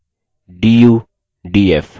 df